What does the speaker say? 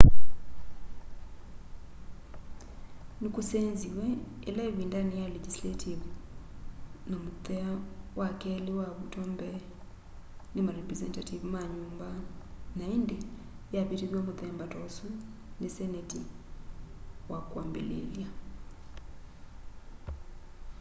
nikusenziw'e ila ivindani ya legisaltive na muthea wa keli wavutwa mbee ni marepresenative ma nyumba na indi yavitithw'a muthemba ta usu ni seneti wa kwambiliilya